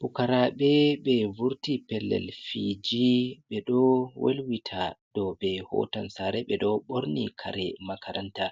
Pukaraɓe ɓe vurti pellel fiji ɓe ɗo welwita dou ɓe hotan sare ɓe ɗo ɓorni kare makaranta